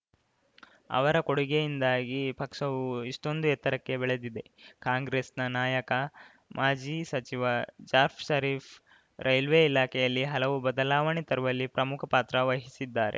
ಅವರ ಕೊಡುಗೆಯಿಂದಾಗಿ ಪಕ್ಷವು ಇಷ್ಟೊಂದು ಎತ್ತರಕ್ಕೆ ಬೆಳೆದಿದೆ ಕಾಂಗ್ರೆಸ್‌ನ ನಾಯಕ ಮಾಜಿ ಸಚಿವ ಜಾಫ್ ಷರೀಫ್‌ ರೈಲ್ವೆ ಇಲಾಖೆಯಲ್ಲಿ ಹಲವು ಬದಲಾವಣೆ ತರುವಲ್ಲಿ ಪ್ರಮುಖ ಪಾತ್ರ ವಹಿಸಿದ್ದಾರೆ